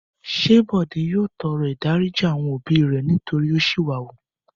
Ṣé Bọ̀dé yóò tọrọ ìdáríjì àwọn òbí nítorí ó ṣìwà wù?